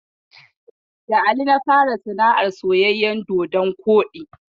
Da Ali na fara sana'ar soyayyen dodon koɗi.